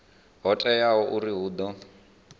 ho teaho uri hu ḓo